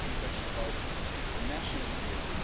The second question about the national interest.